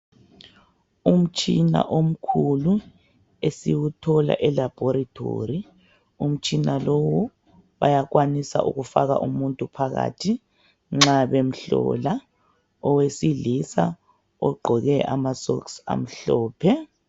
Umtshina omkhulu esiwuthola e"Laboratory" umutshina lowu bayakwanisa ukufaka umuntu phakathi nxa bemhlola, owesilisa ogqoke ama "socks" amhlophe.